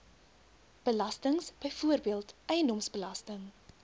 belastings byvoorbeeld eiendomsbelasting